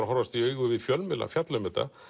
að horfast í augu við fjölmiðla fjalla um þetta